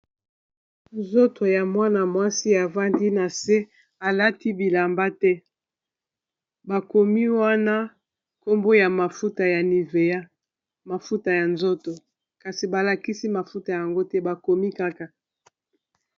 nzoto ya mwana-mwasi afandi na se alati bilamba te bakomi wana kombo ya mafuta ya nivea mafuta ya nzoto kasi balakisi mafuta yango te bakomi kaka.